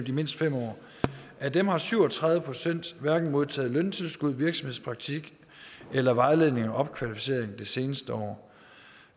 i mindst fem år af dem har syv og tredive procent hverken modtaget løntilskud virksomhedspraktik eller vejledning og opkvalificering det seneste år